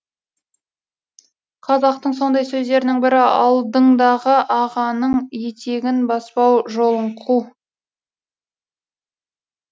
қазақтың сондай сөздерінің бірі алдыңдағы ағаның етегін баспа жолын қу